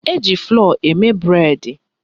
Eji flọ́ọ̀ eme bụredi